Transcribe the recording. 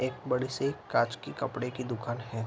एक बड़ी सी काँच की कपड़े की दुकान हैं।